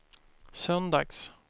söndags